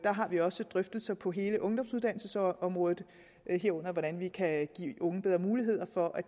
har vi også drøftelser på hele ungdomsuddannelsesområdet herunder om hvordan vi kan give unge bedre muligheder for at